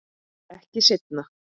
Ekki seinna.